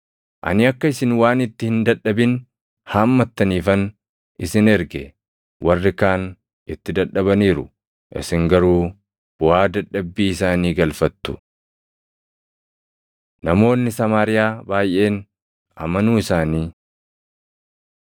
Ani akka isin waan itti hin dadhabin haammattaniifan isin erge. Warri kaan itti dadhabaniiru; isin garuu buʼaa dadhabbii isaanii galfattu.” Namoonni Samaariyaa Baayʼeen amanuu Isaanii